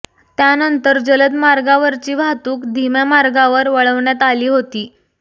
त्यानंतर जलद मार्गावरची वाहतूक धीम्या मार्गावर वळवण्यात आली होती